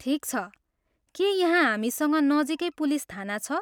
ठिक छ, के यहाँ हामीसँग नजिकै पुलिस थाना छ?